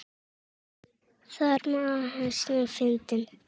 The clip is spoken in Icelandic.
Þarmeð var lausnin fundin.